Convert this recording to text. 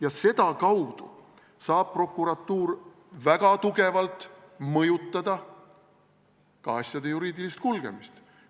Ja seda kaudu saab prokuratuur väga tugevalt mõjutada ka asjade juriidilist kulgemist.